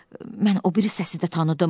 Mən o biri səsi də tanıdım.